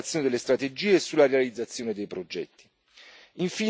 no sull'implementazione delle strategie e sulla realizzazione dei progetti.